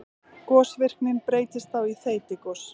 Gosvirknin breytist þá í þeytigos.